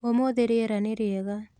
ũmũthĩ rĩera nĩ rĩega.